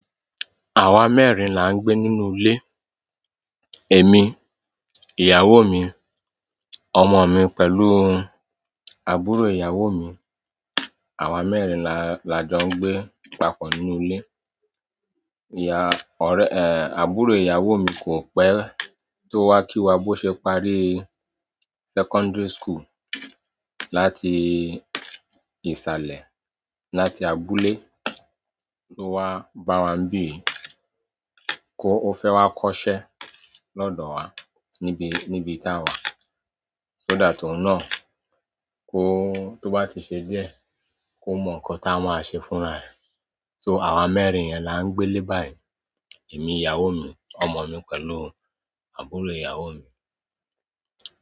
Àwa mẹ́rin là ń gbé nínú ilé. Èmi, ìyàwó mi, ọmọ mi pẹ̀lú àbúrò ìyàwó mi. Àwa mẹ́rin la, la jó ń gbé papọ̀ nínú ilé. Ìya orẹ́, àbúrò ìyàwó mi kò pẹ́, tó wá kí wa bó ṣe parí secondary school láti ìsàlẹ̀, láti abúlé ló wá bá wa ní bì yí, ó fẹ́ wá kọ́ṣẹ́ lọ́dọ̀ wa níbi, níbi táa wà. So that òun náà tó bá ti se díẹ̀, kó mo nkan t'á ma se fún 'ra rè so, àwa mẹ́rin yen là n gbé'lé báyìí èmi, ìyàwó mi, ọmọ mi pẹ̀lú àbúrò ìyàwó mi.